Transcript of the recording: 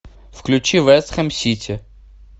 включи вест хэм сити